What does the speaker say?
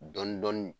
Dɔn dɔni